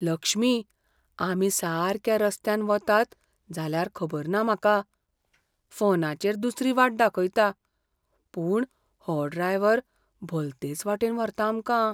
लक्ष्मी, आमी सारक्या रस्त्यान वतात जाल्यार खबर ना म्हाका. फोनाचेर दुसरी वाट दाखयता, पूण हो ड्रायव्हर भलतेच वाटेन व्हरता आमकां.